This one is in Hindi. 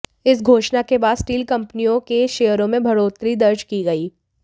इस घोषणा के बाद स्टील कंपनियों के शेयरों में बढ़ोतरी दर्ज की गई